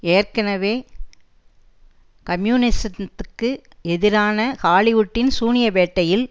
ஏற்கெனவே கம்யூனிசத்திற்கு எதிரான ஹாலிவுட்டின் சூனிய வேட்டையில்